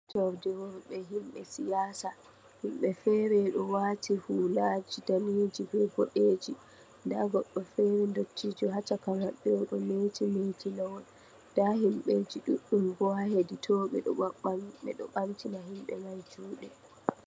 To ow di wol de